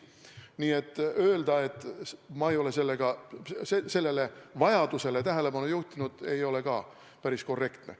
Nii et öelda, et ma ei ole sellele vajadusele tähelepanu juhtinud, ei ole ka päris korrektne.